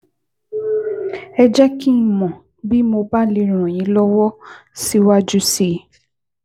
Ẹ jẹ́ kí n mọ̀ bí mo bá lè ràn yín lọ́wọ́ síwájú sí i